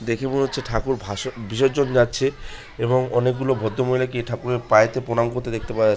দেখে মনে হচ্ছে ঠাকুর ভাষণ বিসর্জন যাচ্ছে এবং অনেকগুলো ভদ্রমহিলা কে ঠাকুরের পায়েতে প্রণাম করতে দেখতে পাওয়া --